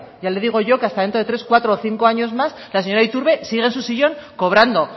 ya le digo yo que hasta dentro de tres cuatro o cinco años más la señora iturbe sigue en su sillón cobrando